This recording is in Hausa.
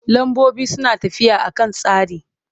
Lambobi suna tafiya a kan tsari.